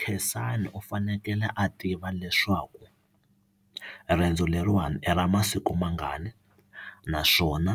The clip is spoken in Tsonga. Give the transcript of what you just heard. Khensani u fanekele a tiva leswaku riendzo leriwani i ra masiku mangani naswona